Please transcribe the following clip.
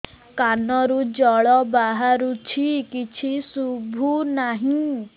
କାନରୁ ଜଳ ବାହାରୁଛି କିଛି ଶୁଭୁ ନାହିଁ